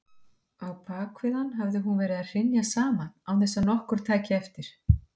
Á bakvið hann hafði hún verið að hrynja saman án þess að nokkur tæki eftir.